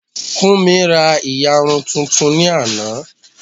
Fúnmi ra ìyarun tuntun ní àná